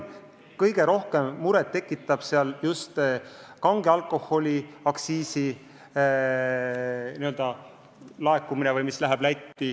Kõige rohkem muret tekitab just kange alkoholi aktsiisi laekumine.